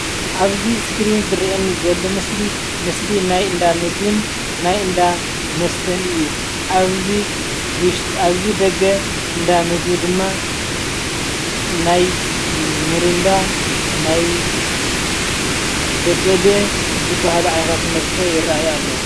ኣብዚ ስክሪን ዝሪእየኒ ዘሎ ምስሊ ምስ ሊናይ እንዳ ምግብን ናይ እንዳ መስተን እዩ ኣብዚ ውሽጢ ኣብዚ ደገ እንዳ ምግቢ ድማ ናይ ሚሪንዳ ናይ ብደሌ ዝበሃሉ ዓይነት መስተ ይርኣዩ ኣሎ።